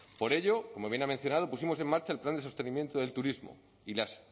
por ello como bien ha mencionado pusimos en marcha el plan de sostenimiento del turismo y las